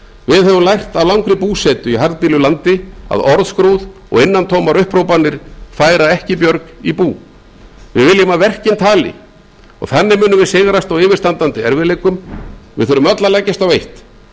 við höfum lært af langri búsetu í harðbýlu landi að orðskrúð og innantómar upphrópanir færa ekki björg í bú við viljum að verkin tali og þannig munum við sigrast á yfirstandandi erfiðleikum við þurfum öll að leggjast á eitt